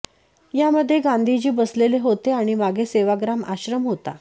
यामधले गांधीजी बसलेले होते आणि मागे सेवाग्राम आश्रम होता